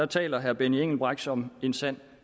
taler herre benny engelbrecht som en sand